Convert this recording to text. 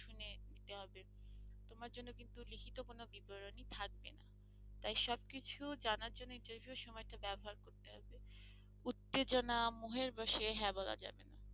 তাই সবকিছু জানার জন্য interview সময় টা ব্যবহার করতে হবে উত্তেজনা মোহের বসে হ্যাঁ বলা যাবে না।